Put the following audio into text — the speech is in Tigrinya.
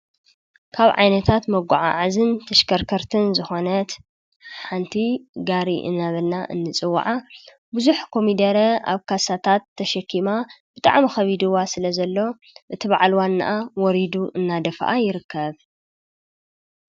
ካብ ዓይነታት መጓዓዓዝን ተሽከርከርትን ዝኾነት ሓንቲ ጋሪ እናበልና እንፅውዓ ብዙሕ ኮሚደረ ኣብ ካሳታት ተሸኪማ ብጣዕሚ ኸቢድዋ ስለዘሎ እቲ በዓል ዋናኣ ወሪዱ እናደፍኣ ይርከብ።